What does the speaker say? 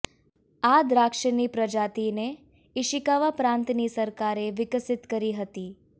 આ દ્રાક્ષની પ્રજાતિને ઈશિકાવા પ્રાંતની સરકારએ વિકસિત કરી હતી